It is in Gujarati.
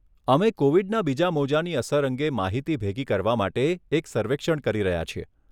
અમે કોવિડના બીજા મોજાની અસર અંગે માહિતી ભેગી કરવા માટે એક સર્વેક્ષણ કરી રહ્યા છીએ.